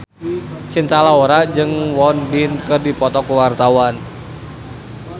Cinta Laura jeung Won Bin keur dipoto ku wartawan